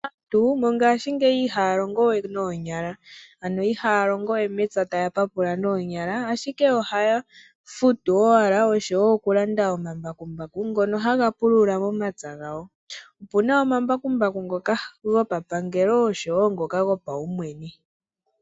Aantu ngashingeyi ihaya longo we noonyala, ano ihaya longo we mepya taya papula noonyala ashike ohaya futu owala oshowo oku landa omambakumbaku ngono haga pulula momapya gawo, opuna omambakumbaku ngoka go papangelo oshowo ngoka go paumwene.